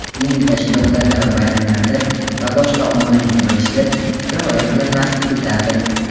diniy tashkilotlarda va bayramlarda va boshqa ommaviy yig‘ilishda rioya qilinmaslikdadir.